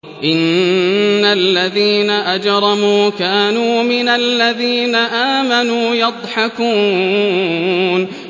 إِنَّ الَّذِينَ أَجْرَمُوا كَانُوا مِنَ الَّذِينَ آمَنُوا يَضْحَكُونَ